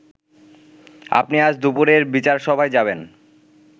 আপনি আজ দুপুরের বিচারসভায় যাবেন